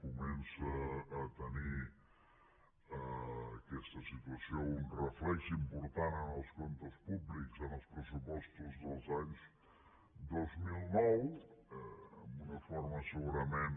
comença a tenir aquesta situació un reflex important en els comptes públics en els pressupostos dels anys dos mil nou amb una forma segurament